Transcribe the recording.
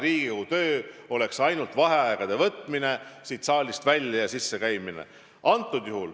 Riigikogu töö oleks sellisel juhul ainult vaheaegade võtmine, siit saalist välja ja siia sisse käimine.